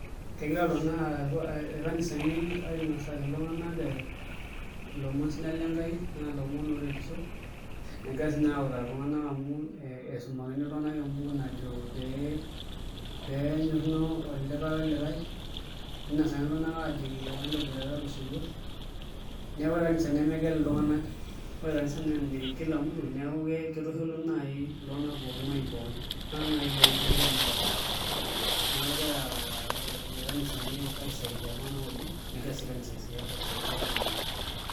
Kegira irkanisa ainasaki iltung'anak ee ilomon sidan le Enkai, ilomon ooretisho negira sii naai autaa iltung'anak amu isumakini iltung'anak embuku najo pee enyorruno olikae olikae ninosakini iltung'anak aajoki pee entabooitata tosotua naa ore kanisa nemegel iltung'anak, ore kanisa naa ene kila mtu neeku kitushulu naai iltung'anak pookin imuayiin pookin iltung'anak naai loonkutukie naapasha, neeku egira irkanaisani aisaidia iltung'anak oleng' negira sii kanisa aisaidia iltung'anak.